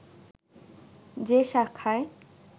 যে শাখায়